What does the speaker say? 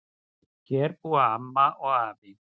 Hér búa amma og afi.